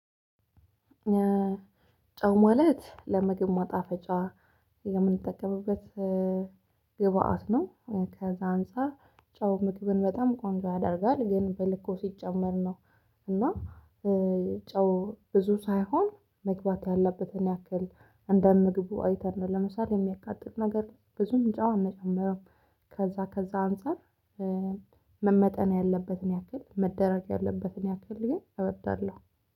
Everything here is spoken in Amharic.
ጨው ማለት ለምግብ ማጣፈጫ የምንጠቀምበት ግብአት ነው። ከዛ አንፃር ጨው ምግብን በጣም ቆንጆ ያደርጋል ግን በልኩ ሲጨመር ነው። እና ጨው ብዙ ሳይሆን መግባት ያለበትን ያክል እንደ ምግቡ አይተን ነው። ለምሳሌ የሚያቃጥል ነገር ብዙም ጨው አንጨምርም። ከዛ ከዛ አንፃር መመጠን ያለበትን ያክል መደረግ ያለበትን ያክል እወዳለሁ።